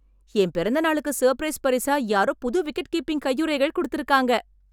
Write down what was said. என் பிறந்தநாளுக்கு சர்ப்ரைஸ் பரிசா யாரோ புது விக்கெட்கீப்பிங் கையுறைகள் குடுத்திருக்காங்க!